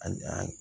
A a